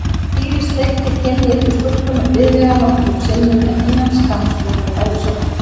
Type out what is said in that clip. Týri sleikti kinn litlu stúlkunnar blíðlega nokkrum sinnum en innan skamms voru þau bæði sofnuð.